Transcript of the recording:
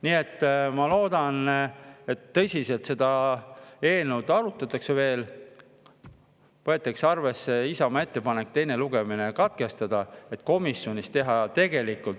Nii et ma loodan, et seda eelnõu veel tõsiselt arutatakse ja võetakse arvesse Isamaa ettepanekut teine lugemine katkestada, et komisjonis teha õigeid otsuseid …